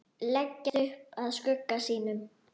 Leggst upp að skugga sínum.